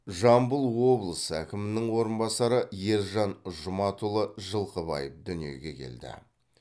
жамбыл облысы әкімінің орынбасары ержан жұматұлы жылқыбаев дүниеге келді